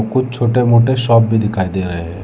कुछ छोटे मोटे शॉप भी दिखाई दे रहे हैं।